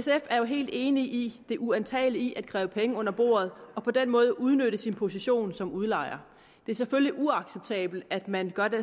sf er helt enig i det uantagelige i at kræve penge under bordet og på den måde udnytte sin position som udlejer det er selvfølgelig uacceptabelt at man gør den